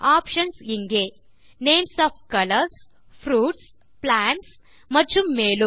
options இங்கே160 names of colours fruits plants மற்றும் மேலும்